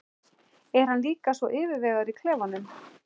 Er hann líka svona yfirvegaður í klefanum?